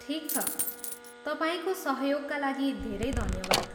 ठिक छ, तपाईँको सहयोगका लागि धेरै धन्यवाद।